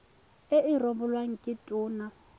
e e rebolwang ke tona